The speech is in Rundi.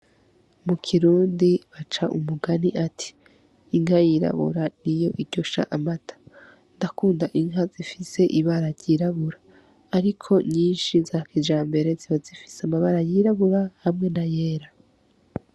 Mukirundi baca umugani ati: Inka yirabura niyo iryosha amata. Ndakunda inka zifise ibara ryirabura, ariko nyinshi za kijambere ziba zifise amabara yirabura hamwe nayera.